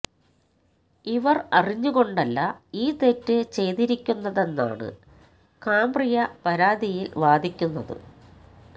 ഇവർ അറിഞ്ഞ് കൊണ്ടല്ല ഈ തെറ്റ് ചെയ്തിരിക്കുന്നതെന്നാണ് കാംബ്രിയ പരാതിയിൽ വാദിക്കുന്നത്